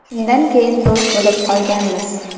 Shundan keyin do‘st bo‘lib qolganmiz.